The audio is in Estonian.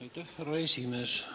Aitäh, härra esimees!